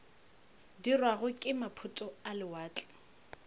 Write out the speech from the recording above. dirwago ke maphoto a lewatle